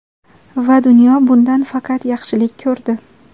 Va dunyo bundan faqat yaxshilik ko‘rdi.